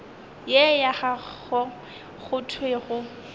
ye ya gago go thwego